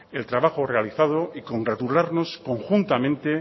el trabajo realizado y congratularnos conjuntamente